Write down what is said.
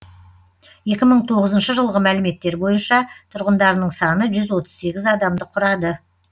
екі мың тоғызыншы жылғы мәліметтер бойынша тұрғындарының саны жүз отыз сегіз адамды құрады